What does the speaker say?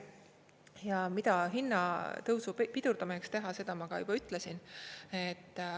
Ja mida hinnatõusu pidurdamiseks teha, seda ma juba ütlesin.